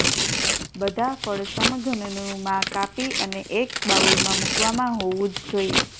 બધા ફળ સમઘનનું માં કાપી અને એક બાઉલમાં મૂકવામાં હોવું જ જોઈએ